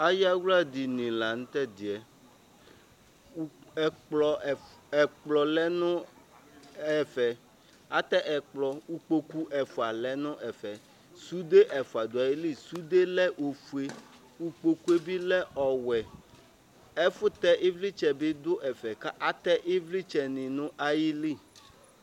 ayawla dini lantɛdiɛ ɛkplɔ lɛ no ɛfɛ atɛ ɛkplɔ ikpoku ɛfua lɛ n'ɛfɛ sude ɛfua do ayili sude lɛ ofue ikpokue bi lɛ ɔwɛ ɛfu tɛ ivlitsɛ bi do ɛfɛ k'atɛ ivlitsɛ ni n'ayili